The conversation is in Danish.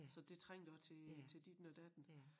Så det trængte også til til ditten og datten